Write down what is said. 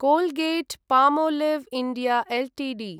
Colgate Palmolive India Ltd